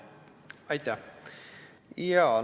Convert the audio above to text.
Aitäh!